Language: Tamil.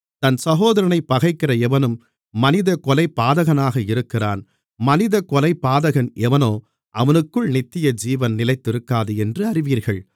தன் சகோதரனைப் பகைக்கிற எவனும் மனித கொலைபாதகனாக இருக்கிறான் மனித கொலைபாதகன் எவனோ அவனுக்குள் நித்தியஜீவன் நிலைத்திருக்காது என்று அறிவீர்கள்